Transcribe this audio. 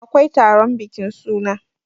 akwai taron bikin suna